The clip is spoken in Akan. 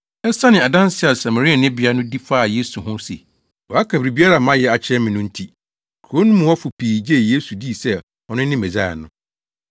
Esiane adanse a Samarianibea no di faa Yesu ho se, “Waka biribiara a mayɛ akyerɛ me” no nti, kurow no mu hɔfo pii gyee Yesu dii sɛ ɔno ne Mesaia no.